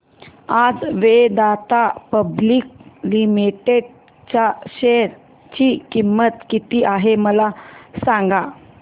आज Vedanta public limited च्या share ची किंमत किती आहे मला सांगा